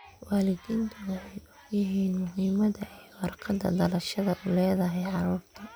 Waalidiintu waxay ogyihiin muhiimada ay warqadaha dhalashada u leedahay carruurta.